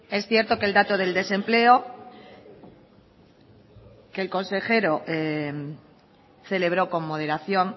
es cierto que el dato del desempleo que el consejero celebró con moderación